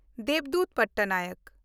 Debdut Pattanayak